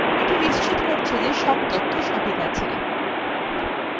এটি নিশ্চিত করতে যে সব তথ্য সঠিক আছে